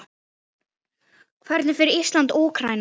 Hvernig fer Ísland- Úkraína?